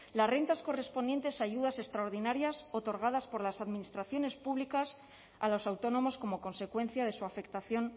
las rentas correspondientes a ayudas extraordinarias otorgadas por las administraciones públicas a los autónomos como consecuencia de su afectación